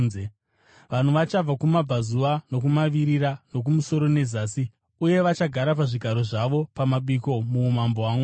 Vanhu vachabva kumabvazuva nokumavirira, nokumusoro nezasi, uye vachagara pazvigaro zvavo pamabiko muumambo hwaMwari.